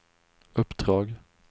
uppdrag